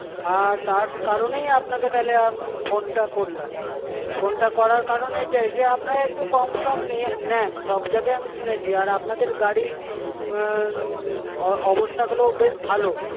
আর তার কারণেই আপনাকে তাহলে আমি phone টা করলাম, phone টা করার কারণ এটাই যে আপনারা একটু কমসম নিয়ে নেন সব জায়গায় আমি শুনেছি, আর আপনাদের গাড়ির অবস্থাগুলো বেশ ভালো